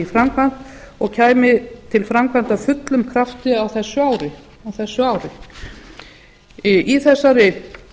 framkvæmd og kæmi til framkvæmda af fullum krafti á þessu ári í þessari